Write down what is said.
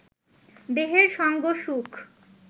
দেহের সঙ্গ সুখ